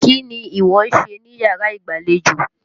Kí ni ìwọ ń ṣe níyàrá ìgbàlejò?